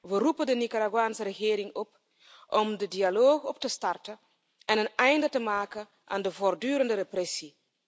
We roepen de Nicaraguaanse regering op om de dialoog op te starten en een einde te maken aan de voortdurende repressie.